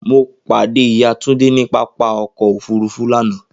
Mo pade iya Tunde ni papa ọkọ ofurufu lana.